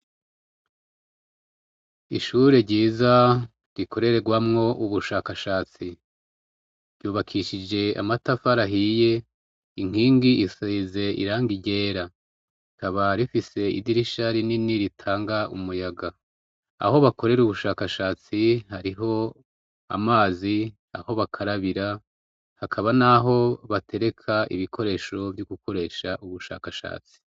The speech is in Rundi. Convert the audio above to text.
Ishure ryiza rikorerwamwo ubushakashatsi ryubakishije amatafari ahiye, inkingi isize irangi ryera rikaba rifise idirisha rinini ritanga umuyaga, aho bakorera ubushakashatsi hariho amazi; aho bakarabira hakaba n'aho batereka ibikoresho vyo gukoresha ubwo bushakashatsi.